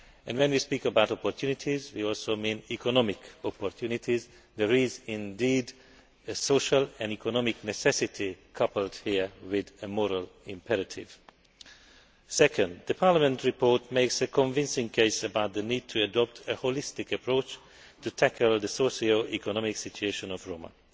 When we speak of opportunities, we also mean economic opportunities. There is indeed a social and economic necessity coupled here with a moral imperative. Secondly, Parliament's report makes a convincing case for the need to adopt a holistic approach to tackling the socio economic situation of the Roma.